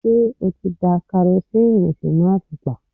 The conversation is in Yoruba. Ṣé o ti da karosíìnì sínú àtùpà?